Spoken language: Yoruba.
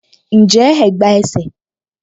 Njẹ́ ẹ̀gbá ẹsẹ̀?